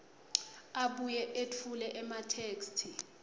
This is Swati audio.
abuye etfule ematheksthi